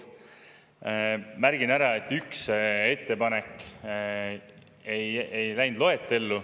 Märgin ära, et üks ettepanek ei läinud loetellu.